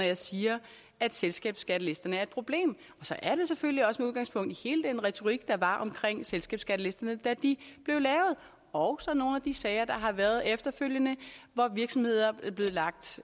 jeg siger at selskabsskattelisterne er et problem og så er det selvfølgelig også med udgangspunkt i hele den retorik der var omkring selskabsskattelisterne da de blev lavet og så nogle af de sager der har været efterfølgende hvor virksomheder er blevet lagt